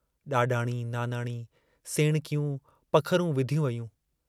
डाडाणी, नानाणी, सेणकियूं पखरूं विधियूं वयूं।